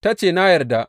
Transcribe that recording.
Ta ce, Na yarda!